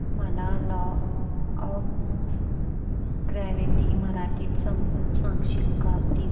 मला law of gravity मराठीत समजून सांगशील का प्लीज